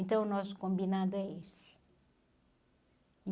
Então o nosso combinado é esse.